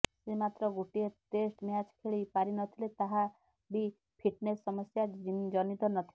ସେ ମାତ୍ର ଗୋଟିଏ ଟେଷ୍ଟ ମ୍ୟାଚ ଖେଳି ପାରି ନଥିଲେ ତାହା ବି ଫିଟନେସ ସମସ୍ୟା ଜନିତ ନଥିଲା